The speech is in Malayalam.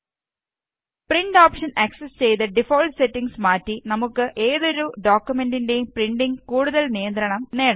പ്രിന്റ് ഓപ്ഷന് ആക്സസ് ചെയ്ത് ഡിഫാള്ട്ട് സെറ്റിംഗ്സ് മാറ്റി നമുക്ക് ഏതൊരു ഡോക്കുമെന്റിന്റേയും പ്രിന്റിംഗില് കൂടുതല് നിയന്ത്രണം നേടാം